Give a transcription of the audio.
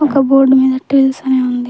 ఒక బోర్డ్ మీద ట్విల్స్ అని ఉంది.